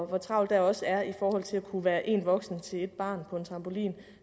hvor travlt der også er i forhold til det at kunne være én voksen til ét barn på en trampolin